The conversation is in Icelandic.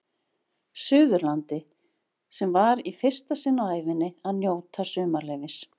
Suðurlandi sem var í fyrsta sinn á ævinni að njóta sumarleyfis.